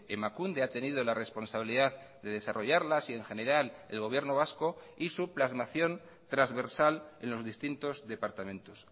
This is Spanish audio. emakunde ha tenido la responsabilidad de desarrollarlas y en general el gobierno vasco y su plasmación trasversal en los distintos departamentos